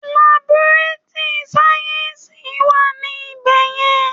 Laborátúrì sáyẹ́ǹsì wà ní ibẹ̀ yẹn.